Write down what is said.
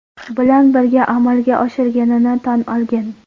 Bilan birga amalga oshirganini tan olgan.